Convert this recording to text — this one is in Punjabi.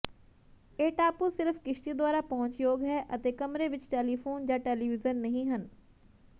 ਇਹ ਟਾਪੂ ਸਿਰਫ ਕਿਸ਼ਤੀ ਦੁਆਰਾ ਪਹੁੰਚਯੋਗ ਹੈ ਅਤੇ ਕਮਰੇ ਵਿੱਚ ਟੈਲੀਫ਼ੋਨ ਜਾਂ ਟੈਲੀਵਿਜ਼ਨ ਨਹੀਂ ਹਨ